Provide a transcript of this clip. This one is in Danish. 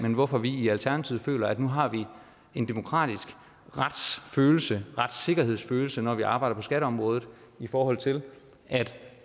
om hvorfor vi i alternativet føler at nu har vi en demokratisk retssikkerhedsfølelse når vi arbejder på skatteområdet i forhold til at